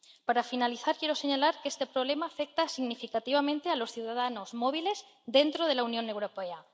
Para finalizar, quiero señalar que este problema afecta significativamente a los ciudadanos móviles dentro de la Unión Europea.